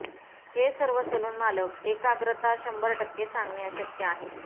हे सर्व सलून मालक एकाग्रता शंभर टक्के सांगणे अशक्य आहे